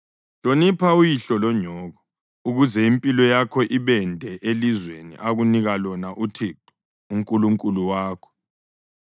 Hlonipha uyihlo lonyoko ukuze impilo yakho ibende elizweni akunika lona uThixo uNkulunkulu wakho.